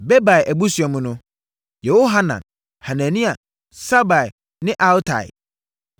Bebai abusua mu no: Yehohanan, Hanania, Sabai ne Atlai.